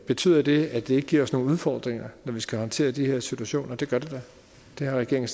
betyder det at det giver os nogle udfordringer når vi skal håndtere de her situationer det gør det da det har regeringen